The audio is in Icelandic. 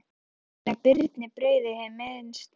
Merkti enginn að Birni brygði hið minnsta.